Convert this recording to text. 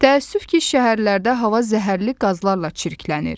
Təəssüf ki, şəhərlərdə hava zəhərli qazlarla çirklənir.